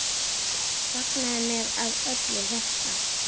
Fagnaði með af öllu hjarta.